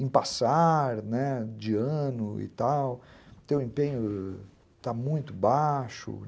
em passar, né, de ano e tal, teu empenho está muito baixo.